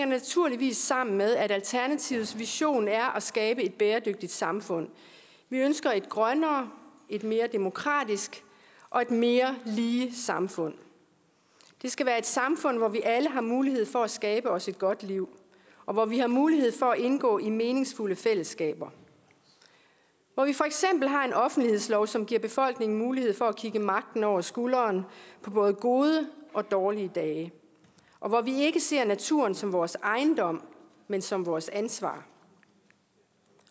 naturligvis sammen med at alternativets vision er at skabe et bæredygtigt samfund vi ønsker et grønnere et mere demokratisk og et mere lige samfund det skal være et samfund hvor vi alle har mulighed for at skabe os et godt liv og hvor vi har mulighed for at indgå i meningsfulde fællesskaber hvor vi for eksempel har en offentlighedslov som giver befolkningen mulighed for at kigge magten over skulderen på både gode og dårlige dage og hvor vi ikke ser naturen som vores ejendom men som vores ansvar